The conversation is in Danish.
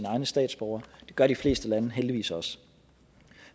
egne statsborgere det gør de fleste lande heldigvis også